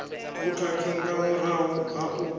vhukhakhi nga murahu ha u